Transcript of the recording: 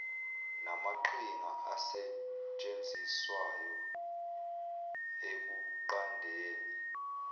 namaqhinga asetshenziswayo ekunqandeni